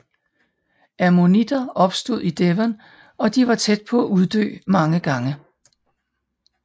Ammonitter opstod i Devon og de var tæt på at uddø mange gange